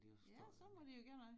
Ja så må de jo gøre noget